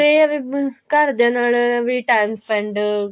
ਇਹ ਆ ਵੀ ਘਰਦਿਆਂ ਨਾਲ ਵੀ time spend